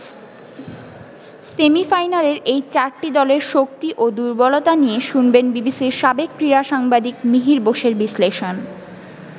সেমিফাইনালের এই চারটি দলের শক্তি ও দুর্বলতা নিয়ে শুনবেন বিবিসির সাবেক ক্রীড়া সাংবাদিক মিহির বোসের বিশ্লেষণ।